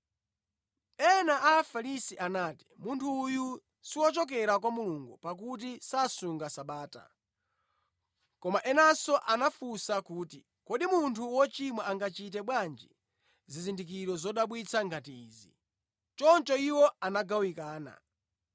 Ena a Afarisi anati, “Munthu uyu siwochokera kwa Mulungu, pakuti sasunga Sabata.” Koma enanso anafunsa kuti, “Kodi munthu wochimwa angachite bwanji zizindikiro zodabwitsa ngati izi?” Choncho iwo anagawanika.